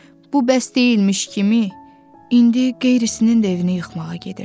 Bu bəs deyilmiş kimi, indi qeyrisinin də evini yıxmağa gedirsən?